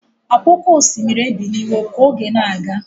Ọkwa oké osimiri ebiliwo ka oge na-aga.